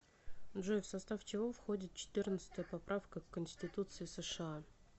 джой в состав чего входит четырнадцатая поправка к конституции сша